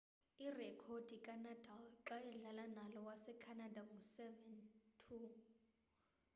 irekhodi kanadal xa edlala nalo wasecanada ngu 7-2